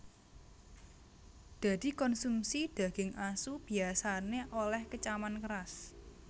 Dadi konsumsi daging asu biyasané olèh kecaman keras